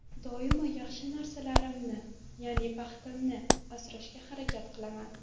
Doimo yaxshi narsalarimni, ya’ni baxtimni asrashga harakat qilaman.